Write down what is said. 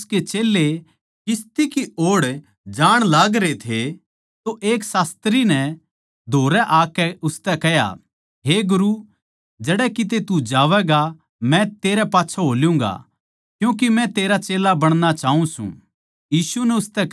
यीशु अर उसके चेल्लें किस्ती की ओड़ जाण लागरे थे तो एक शास्त्री नै धोरै आकै उसतै कह्या हे गुरू जड़ै किते तू जावैगा मै तेरै पाच्छै हो ल्यूँगा क्यूँके मै तेरा चेल्ला बणणा चाऊँ सूं